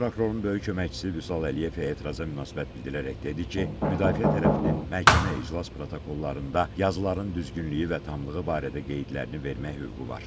Baş prokurorun böyük köməkçisi Vüsal Əliyev etiraza münasibət bildirərək dedi ki, müdafiə tərəfinin məhkəmə iclas protokollarında yazıların düzgünlüyü və tamlığı barədə qeydlərini vermək hüququ var.